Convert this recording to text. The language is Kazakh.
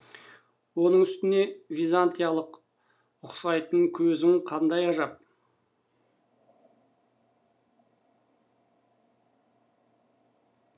оның үстіне византиялыққа ұқсайтын көзің қандай ғажап